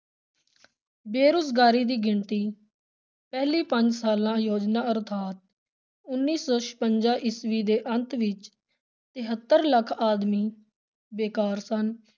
ਬੇਰੁਜ਼ਗਾਰੀ ਦੀ ਗਿਣਤੀ, ਪਹਿਲੀ ਪੰਜ ਸਾਲਾ ਯੋਜਨਾ ਅਰਥਾਤ ਉੱਨੀ ਸੌ ਛਪੰਜਾ ਈਸਵੀ ਦੇ ਅੰਤ ਵਿਚ ਤਹੇਤਰ ਲੱਖ ਆਦਮੀ ਬੇਕਾਰ ਸਨ।